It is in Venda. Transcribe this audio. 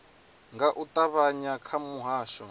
nga u ṱavhanya kha muhasho